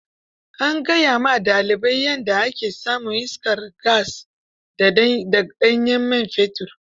An gaya wa dalibai yadda ake samun iskar gas da ga ɗanyen man fetur.